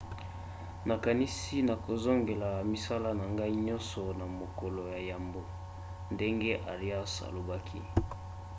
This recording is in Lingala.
nakanisi nakozongela misala na ngai nyonso na mokolo ya yambo, ndenge arias alobaki